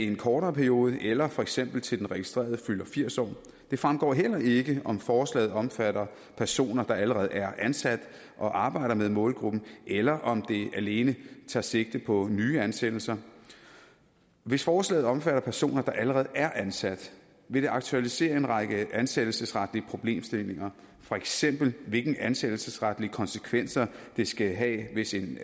en kortere periode eller for eksempel til den registrerede fylder firs år det fremgår heller ikke om forslaget omfatter personer der allerede er ansat og arbejder med målgruppen eller om det alene tager sigte på nye ansættelser hvis forslaget omfatter personer der allerede er ansat vil det aktualisere en række ansættelsesretlige problemstillinger for eksempel hvilke ansættelsesretlige konsekvenser det skal have hvis en